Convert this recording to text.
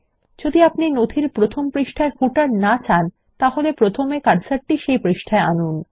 যদি আপনি নথির প্রথম পৃষ্ঠায় পাদ্লেখ র না চান তাহলে প্রথমে কার্সারটি পৃষ্ঠায় আনুন